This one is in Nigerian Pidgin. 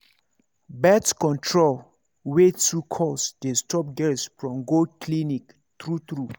birth control wey too cost dey stop girls from go clinic true true